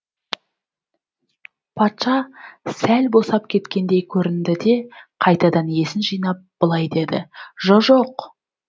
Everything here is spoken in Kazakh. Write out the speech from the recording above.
патша сәл босап кеткендей көрінді де қайтадан есін жинап былай дейді жо жоқ